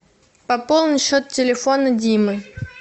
пополни счет телефона димы